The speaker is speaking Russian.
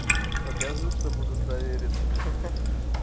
покажи чтобы удостовериться ха-ха